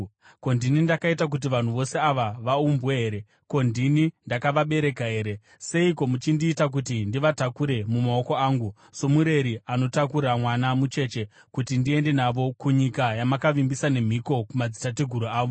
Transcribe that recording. Ko, ndini ndakaita kuti vanhu vose ava vaumbwe here? Ko, ndini ndakavabereka here? Seiko muchindiita kuti ndivatakure mumaoko angu, somureri anotakura mwana mucheche kuti ndiende navo kunyika yamakavimbisa nemhiko kumadzitateguru avo?